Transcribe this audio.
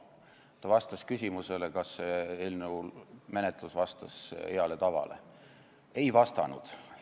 Ta vastas küsimusele, kas eelnõu menetlus vastas heale tavale: "Ei vastanud."!